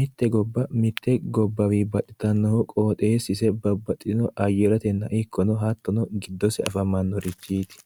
mitte gobba mitte gobbawii baxxitannohu qoxeessise babbaxino ayretenna ikkono hattona giddose afamannorichiti